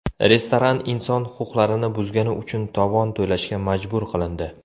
Restoran inson huquqlarini buzgani uchun tovon to‘lashga majbur qilindi.